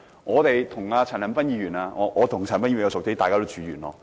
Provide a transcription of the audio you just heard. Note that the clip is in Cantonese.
我和陳恒鑌議員較為相熟，大家都住在元朗。